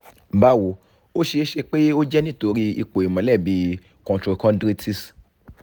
bawo o ṣee ṣe pe o jẹ nitori ipo ìmọ́lẹ̀ bí i costochondritis